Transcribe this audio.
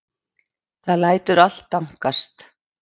Það lætur allt dankast.